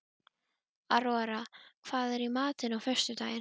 Aurora, hvað er í matinn á föstudaginn?